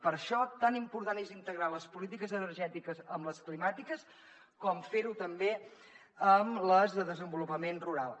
per això tan important és integrar les polítiques energètiques amb les climàtiques com fer ho també amb les de desenvolupament rural